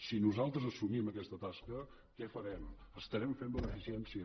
si nosaltres assumim aquesta tasca què farem estarem fent beneficència